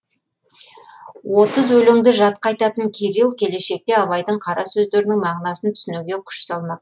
отыз өлеңді жатқа айтатын кирилл келешекте абайдың қара сөздерінің мағынасын түсінуге күш салмақ